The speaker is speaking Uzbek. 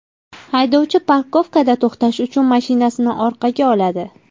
Haydovchi parkovkada to‘xtash uchun mashinasini orqaga oladi.